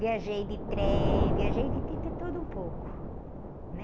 Viajei de trem, viajei de tudo um pouco, né?